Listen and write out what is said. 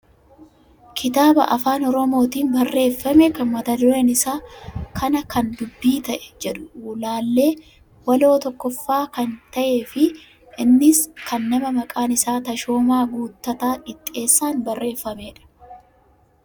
Kitaaba afaan oromootiin barreeffame kan mata dureen isaa " kana kan dubbii ta'e " jedhu laallee waloo tokkoffaa kan ta'e fi innis kan nama maqaan isaa Tashoomaa Guuttataa Qixxeessaan barreeffamedha.